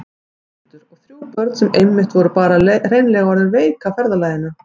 Þórhildur: Og þrjú börn sem einmitt voru bara hreinlega orðin veik af ferðalaginu?